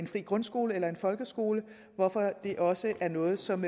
fri grundskole eller en folkeskole hvorfor det også er noget som